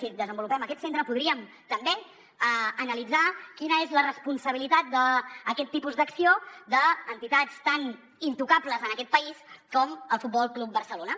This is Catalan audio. si desenvolupem aquest centre podríem també analitzar quina és la responsabilitat d’aquest tipus d’acció d’entitats tan intocables en aquest país com el futbol club barcelona